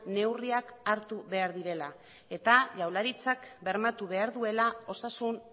neurriak hartu behar direla eta jaurlaritzak bermatu behar duela osasun